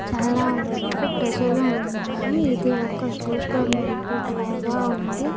చాలా వరకు ప్రజలు ఉన్నారు ఇది ఒక సూపర్ మార్కెట్ లాగా ఉంది.